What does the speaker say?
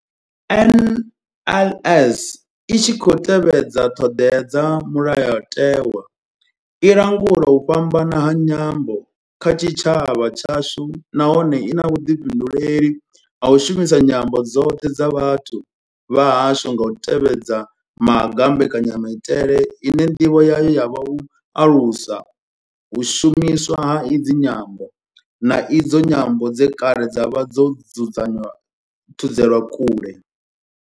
NLS I tshi khou tevhedza ṱhodea dza mulayotewa, i langula u fhambana ha nyambo kha tshitshavha tshashu nahone I na vhuḓifhinduleli ha u shumisa nyambo dzoṱhe dza vhathu vha hashu nga u tevhedza maga a mbekanyamaitele ine ndivho yayo ya vha u alusa u shumiswa ha idzi nyambo, na idzo nyambo dze kale dza vha dzo thudzelwa kule.